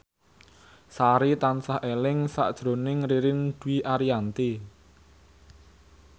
Sari tansah eling sakjroning Ririn Dwi Ariyanti